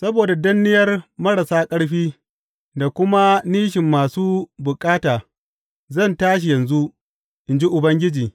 Saboda danniyar marasa ƙarfi da kuma nishin masu bukata, zan tashi yanzu, in ji Ubangiji.